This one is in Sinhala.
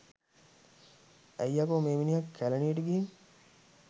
ඇයි යකො මෙ මිනිහා කැලනියට ගිහින්